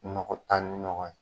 Nɔgɔ taa ni nɔgɔ ye